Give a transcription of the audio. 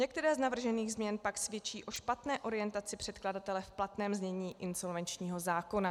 Některé z navržených změn pak svědčí o špatné orientaci předkladatele v platném znění insolvenčního zákona.